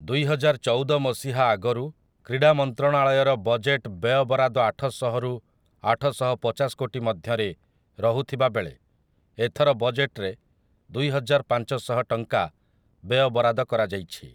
ଦୁଇହଜାରଚଉଦ ମସିହା ଆଗରୁ କ୍ରୀଡ଼ାମନ୍ତ୍ରଣାଳୟର ବଜେଟ୍‌‌‌ ବ୍ୟୟବରାଦ ଆଠଶହ ରୁ ଆଠଶହପଚାଶ କୋଟି ମଧ୍ୟରେ ରହୁଥିବାବେଳେ ଏଥର ବଜେଟରେ ଦୁଇହଜାର ପାଞ୍ଚଶହ ଟଙ୍କା ବ୍ୟୟବରାଦ କରାଯାଇଛିା ।